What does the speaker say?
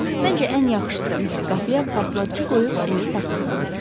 Məncə, ən yaxşısı qapıya partlayıcı qoyub evi partlatmaqdır.